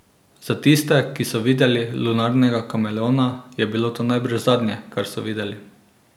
Za tiste, ki so videli lunarnega kameleona, je bilo to najbrž zadnje, kar so videli.